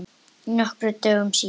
Nokkrum dögum síðar.